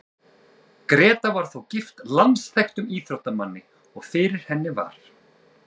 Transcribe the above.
Gréta var þó gift landsþekktum íþróttamanni, og fyrir henni var